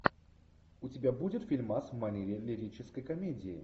у тебя будет фильмас в манере лирической комедии